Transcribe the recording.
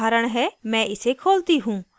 मैं इसे खोलती हूँ